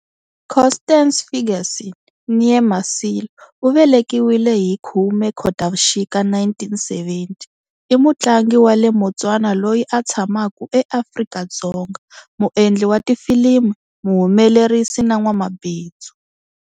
Constance Ferguson née Masilo, u velekiwile hiti 10 Khotavuxika 1970, I mutlangi wa le Motswana loyi a tshamaku eAfrika-Dzonga, muendli wa tifilimi, muhumelerisi na n'wamabindzu.